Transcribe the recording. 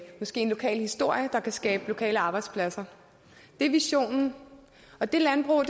måske en lokal historie der kan skabe lokale arbejdspladser det er visionen og det landbrug